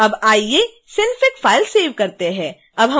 आइए अब synfig file को सेव करते हैं